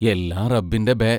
എല്ലാം റബ്ബിന്റെ ബേ